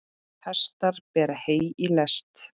Hestar bera hey í lest.